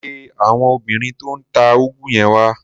Pe àwọn obìnrin tó ń ta úgú yẹn wá.